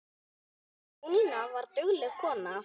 Jónína var dugleg kona.